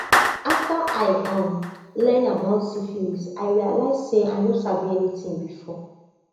after i um learn about syphilis i realize say i no sabi anything before